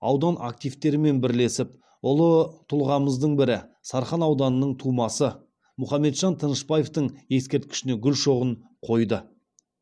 аудан активтерімен бірлесіп ұлы тұлғамыздың бірі сарқан ауданының тумасы мұхаметжан тынышпаевтың ескерткішіне гүл шоғын қойды